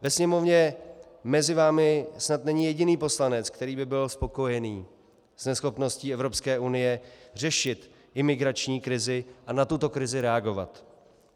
Ve Sněmovně mezi vámi snad není jediný poslanec, který by byl spokojený s neschopností Evropské unie řešit imigrační krizi a na tuto krizi reagovat.